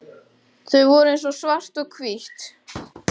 Þau voru eins og svart og hvítt.